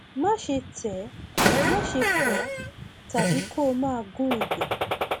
máṣe tẹ ẹ máṣe fọ ọ tàbí kó o máa gún ibẹ